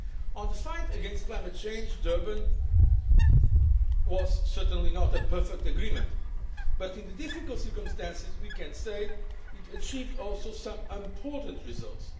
On the fight against climate change, Durban was certainly not a perfect agreement, but in the difficult circumstances we can say that it achieved some important results